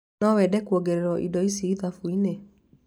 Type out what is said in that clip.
No wende kuongererwo indo ici ithabu-inĩ